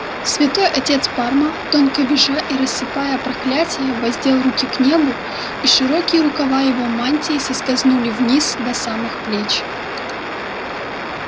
святой отец парма тонко визжа и рассыпая проклятия воздел руки к небу и широкие рукава его мантии соскользнули вниз до самых плеч